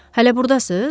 Hələ burdasız?